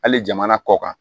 Hali jamana kɔ kan